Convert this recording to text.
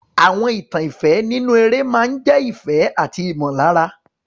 Àwọn ìtàn ìfẹ́ nínú eré máa ń jẹ́ ìfẹ́ àti ìmọ̀lára.